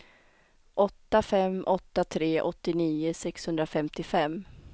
åtta fem åtta tre åttionio sexhundrafemtiofem